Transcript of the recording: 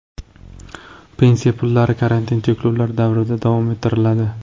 Pensiya pullari karantin cheklovlari davrida davom ettiriladi.